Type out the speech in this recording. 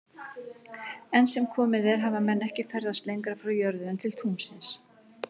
Enn sem komið er hafa menn ekki ferðast lengra frá jörðu en til tunglsins.